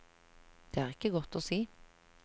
Det er ikke godt å si.